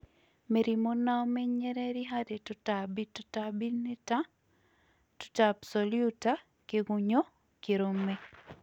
MÌRĩMÙ NA ÙMENYERERĩ HARÌ TÙTAMBĩ Tũtambĩ nĩ ta; Tũta absolũta, kĩgũnyũ, kĩrũme